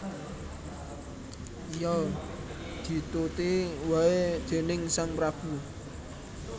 Iya dituti waé déning sang prabu